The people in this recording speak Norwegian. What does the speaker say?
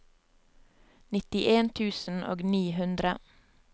nittien tusen og ni hundre